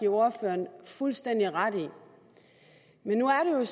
ordføreren fuldstændig ret i men nu er